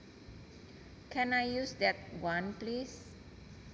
Can I use that one please